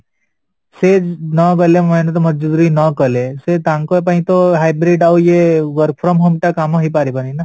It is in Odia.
ସେ ନଗଲେ main ତ ମଜୁରୀ ନକଲେ ସେ ତାଙ୍କ ପାଇଁ ତ ଆଉ ଇଏ work from home ଟା କାମ ହେଇପାରିବନି ନା?